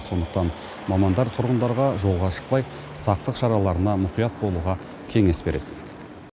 сондықтан мамандар тұрғындарға жолға шықпай сақтық шараларына мұқият болуға кеңес береді